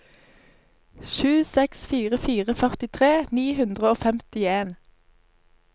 sju seks fire fire førtitre ni hundre og femtien